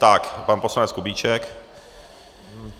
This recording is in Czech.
Tak pan poslanec Kubíček.